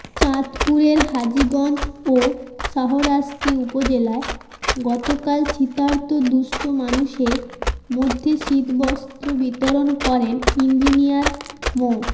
চাঁদপুরের হাজীগঞ্জ ও শাহরাস্তি উপজেলায় গতকাল শীতার্ত দুস্থ মানুষের মধ্যে শীতবস্ত্র বিতরণ করেন ইঞ্জিনিয়ার মো